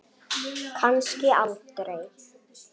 Kannski aldrei.